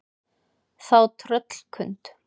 Þá tröllkund